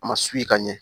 A ma ka ɲɛ